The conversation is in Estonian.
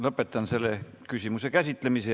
Lõpetan selle küsimuse käsitlemise.